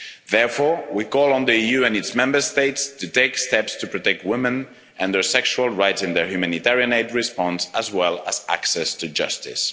Therefore, we call on the EU and its Member States to take steps to protect women and their sexual rights in their humanitarian aid response, as well as access to justice.